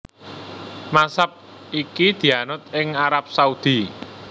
Mazhab iki dianut ing Arab Saudi